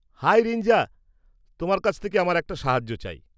High Rinja, তোমার কাছ থেকে আমার একটা সাহায্য চাই।